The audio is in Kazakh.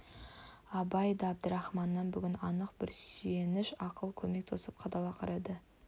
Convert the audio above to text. абай да әбдірахманнан бүгін анық бір сүйеніш ақыл көмек тосып қадала қарады